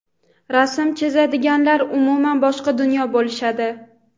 Rasm chizadiganlar - umuman boshqa dunyo bo‘lishadi.